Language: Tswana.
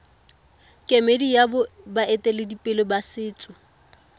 kemedi ya baeteledipele ba setso